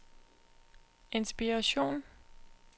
inspiration